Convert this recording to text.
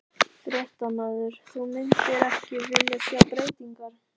Fréttamaður: Þú myndir ekki vilja sjá breytingar?